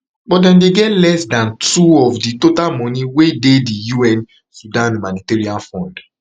but dem dey get less dan two of di total money wey dey di un sudan humanitarian fund